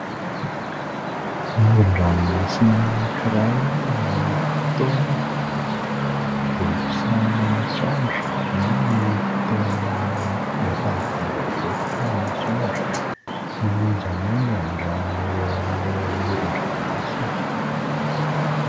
Moron-dranomasina anankiray amin'ny fotoana vao iposahan'ny masoandro na amin'ny fotoana efa hadiva iletika ny masoandro, manonjanonja ny rano eo amin'ilay moron-dramomasina